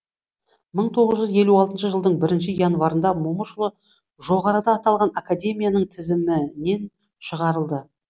мың тоғыз жүз елу алтыншы жылдың бірінші январында момышұлы жоғарыда аталған академияның тізімінен шығарылды